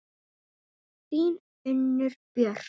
Þín, Unnur Björk.